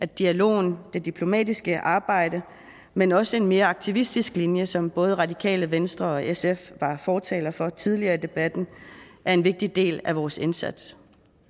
dialogen og det diplomatiske arbejde men også en mere aktivistisk linje som både radikale venstre og sf var fortalere for tidligere i debatten er en vigtig del af vores indsats